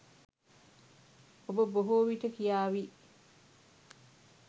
ඔබ බොහෝ විට කියාවි